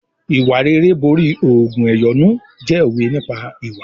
"Ìwà rere borí ògùn ẹ̀yọ́nú" jẹ́ òwe nípa ìwà.